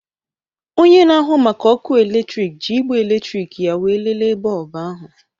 Onye na-ahụ maka ọkụ eletrik ji igbe eletrịkị ya wee léléè bọlbụ ahụ